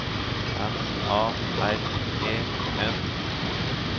M A R E N